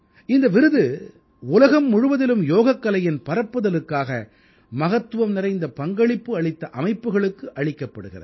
இந்த விருது உலகம் முழுவதிலும் யோகக்கலையின் பரப்புதலுக்காக மகத்துவம் நிறைந்த பங்களிப்பு அளித்த அமைப்புக்களுக்கு அளிக்கப்படுகிறது